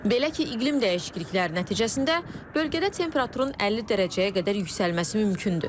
Belə ki, iqlim dəyişiklikləri nəticəsində bölgədə temperaturun 50 dərəcəyə qədər yüksəlməsi mümkündür.